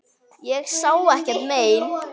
Ég sá ekkert mein.